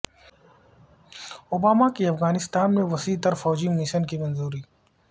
Obama کی افغانستان میں وسیع تر فوجی مشن کی منظوری